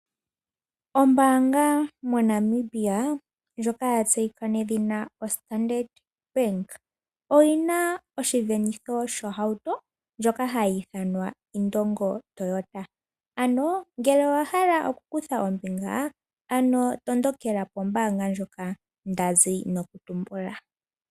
Ombaanga moNamibia, ndjoka ya tse yika nawa nedhina Standard bank, oyina oshivenitho sho hauto ndjoka hayi ithanwa Indongo Toyota. Ano ngele owa hala oku kutha ombinga, ano tondokela ko mbaanga ndjoka ndazi no kutumbula.